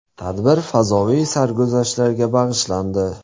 Tadbir fazoviy sarguzashtlarga bag‘ishlandi.